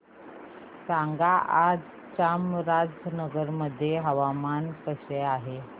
सांगा आज चामराजनगर मध्ये हवामान कसे आहे